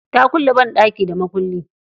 Ta kulle banɗaki da mukullin.